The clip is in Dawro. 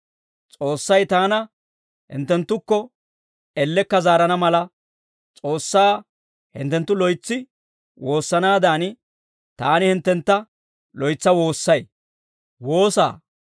S'oossay taana hinttenttukko ellekka zaarana mala, S'oossaa hinttenttu loytsi woossanaadan, taani hinttentta loytsa woossay.